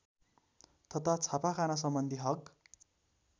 तथा छापाखानासम्बन्धी हक